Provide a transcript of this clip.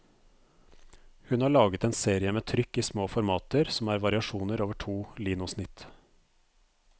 Hun har laget en serie med trykk i små formater, som er variasjoner over to linosnitt.